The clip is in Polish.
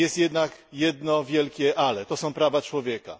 Jest jednak jedno wielkie ale to są prawa człowieka.